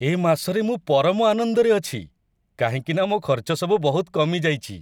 ଏ ମାସରେ ମୁଁ ପରମ ଆନନ୍ଦରେ ଅଛି, କାହିଁକିନା ମୋ' ଖର୍ଚ୍ଚ ସବୁ ବହୁତ କମିଯାଇଚି!